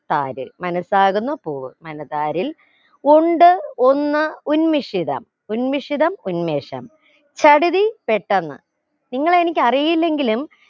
താര് മനസാകുന്ന പൂവ് മനതാരിൽ ഉണ്ട് ഒന്ന് ഉന്മിഷിതം ഉന്മിഷിതം ഉന്മേഷം ചടുതി പെട്ടെന്ന് നിങ്ങളെ എനിക്ക് അറിയില്ലെങ്കിലും